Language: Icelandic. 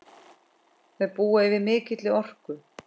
Þau búa yfir mikilli orku.